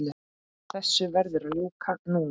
Þessu verður að ljúka núna